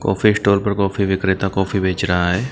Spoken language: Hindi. कॉफी स्टोर पर कॉफी विक्रेता कॉफी बेच रहा है।